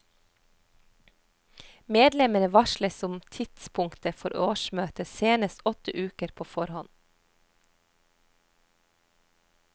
Medlemmene varsles om tidspunktet for årsmøtet senest åtte uker på forhånd.